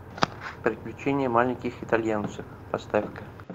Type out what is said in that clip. приключения маленьких итальянцев поставь ка